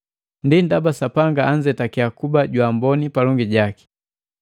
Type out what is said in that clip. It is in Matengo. Ndi ndaba Sapanga anzetake kuba jwa amboni palongi jaki.